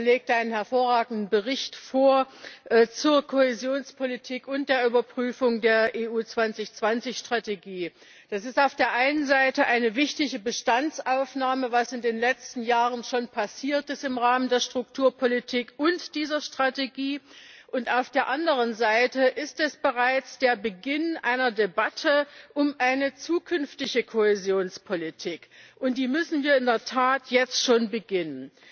Er hat einen hervorragenden Bericht zur Kohäsionspolitik und zur Überprüfung der Europa 2020 Strategie vorgelegt. Das ist auf der einen Seite eine wichtige Bestandsaufnahme, was in den letzten Jahren schon im Rahmen der Strukturpolitik und dieser Strategie passiert ist. Auf der anderen Seite ist es bereits der Beginn einer Debatte um eine zukünftige Kohäsionspolitik, und die müssen wir in der Tat jetzt schon beginnen.